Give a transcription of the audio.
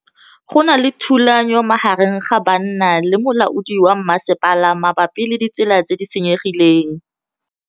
Go na le thulanô magareng ga banna le molaodi wa masepala mabapi le ditsela tse di senyegileng.